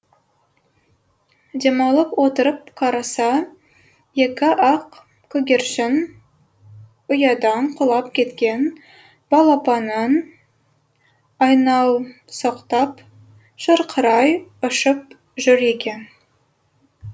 демалып отырып қараса екі ақ көгершін ұядан құлап кеткен балапанын айналсоқтап шырқырай ұшып жүр екен